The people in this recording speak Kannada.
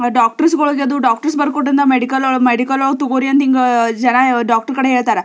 ಡಾಕ್ಟರ್ಸ್ಗಳಿಗೆದು ಡಾಕ್ಟರ್ಸ್ ಬರ್ತುಕೊಟ್ಟಿದ್ನ ಮೆಡಿಕಲೌರ್ ಮೆಡಿಕಲೌರ್ ತಗೋರಿ ಅಂತ ಹಿಂಗಾ ಜನ ಡಾಕ್ಟರ್ ಕಡೆ ಹೇಳ್ತಾರ.